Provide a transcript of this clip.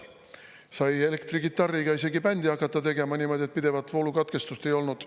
Sai elektrikitarriga isegi bändi hakata tegema niimoodi, et pidevat voolukatkestust ei olnud.